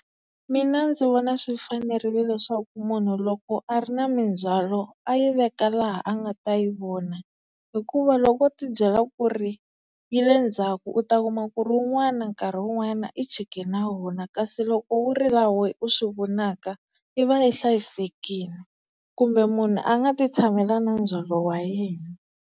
Mina ndzi vona swi fanerile leswaku munhu loko a ri na mindzhwalo a yi veka laha a nga ta yi vona, hikuva loko o ti byela ku ri yi le ndzhaku u ta kuma ku ri wun'wana nkarhi wun'wana i chike na wona, kasi loko wu ri laha we u swi vonaka yi va yi hlayisekile. Kumbe munhu a nga ti tshamela na ndzhwalo wa yena.